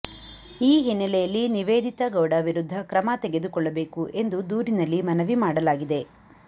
ಈ ಹಿನ್ನೆಲೆಯಲ್ಲಿ ನಿವೇದಿತಾ ಗೌಡ ವಿರುದ್ಧ ಕ್ರಮ ತೆಗೆದುಕೊಳ್ಳಬೇಕು ಎಂದು ದೂರಿನಲ್ಲಿ ಮನವಿ ಮಾಡಲಾಗಿದೆ